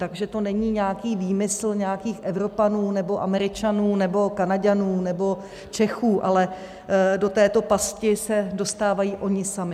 Takže to není nějaký výmysl nějakých Evropanů nebo Američanů nebo Kanaďanů nebo Čechů, ale do této pasti se dostávají oni sami.